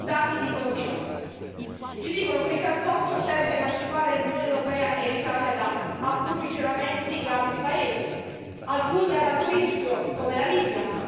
I dati dicono di no, ci dicono che il gasdotto serve a emancipare l'Unione europea e l'Italia da approvvigionamenti di altri paesi, alcuni ad alto rischio come la Libia.